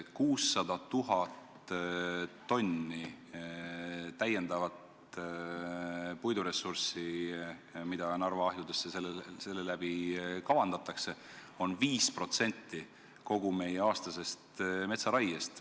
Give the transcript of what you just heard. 600 000 tonni täiendavat puiduressurssi, mida kavandatakse Narva ahjudes põletada, on 5% kogu meie aastasest metsaraiest.